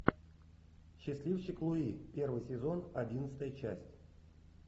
счастливчик луи первый сезон одиннадцатая часть